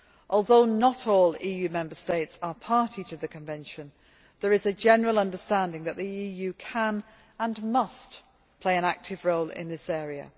Although not all EU Member States are party to the convention, there is a general understanding that the EU can, and must, play an active role in this area.